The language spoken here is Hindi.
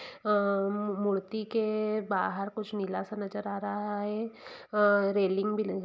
अ-मूर्ति के बाहर कुछ नीला सा नजर आ रहा है अ-रेलिंग भी ल--